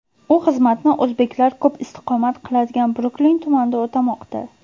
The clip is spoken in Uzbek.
U xizmatni o‘zbeklar ko‘p istiqomat qiladigan Bruklin tumanida o‘tamoqda.